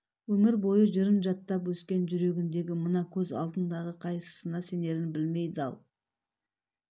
өмір бойы жырын жаттап өскен жүрегіндегі мына көз алдындағы қайсысына сенерін білмей дал